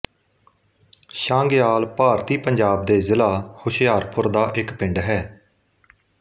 ਛਾਂਗਿਆਲ ਭਾਰਤੀ ਪੰਜਾਬ ਦੇ ਜਿਲ੍ਹਾ ਹੁਸ਼ਿਆਰਪੁਰ ਦਾ ਇੱਕ ਪਿੰਡ ਹੈ